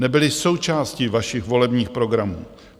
Nebyly součástí vašich volebních programů.